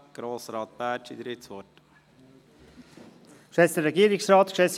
Grossrat Bärtschi, Sie haben das Wort.